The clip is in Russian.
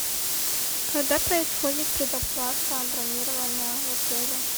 когда происходит предоплата бронирования в отеле